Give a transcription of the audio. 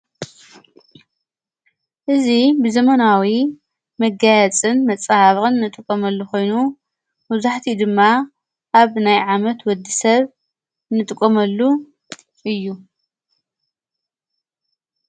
እዙ ብዘመናዊ መጋያጽን መጻሃብቕን ንጥቖመሉ ኾይኑ መብዛሕቲኡ ድማ ኣብ ናይ ዓመት ወዲ ሰብ ንጥቖመሉ እዩ።